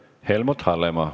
Helmut Hallemaa.